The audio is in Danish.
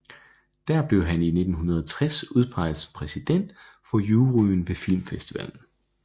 Der blev han i 1960 udpeget som præsident for juryen ved filmfestivalen